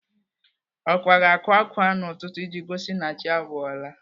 Ọkwa ga-akwa ákwá n'ụtụtụ iji gosi na chi abọọla.